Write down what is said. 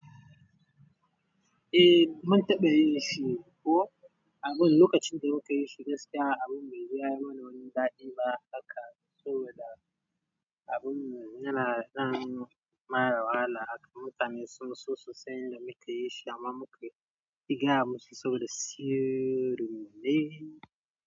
Eh, mun taɓa yi shi ko abun lokacin da muka yi shi gaskiya abun bai yi mana wani ɗadi ba. Haka saboda abun yana ɗan bada wahala. Haka mutane sun so su san yadda muka yin shi amma muka ki gaya musu saboda sirri ne.